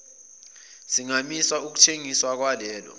singamisa ukuthengiswa kwalelo